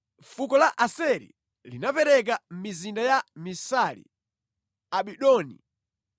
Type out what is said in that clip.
Fuko la Aseri linapereka mizinda ya Misali, Abidoni,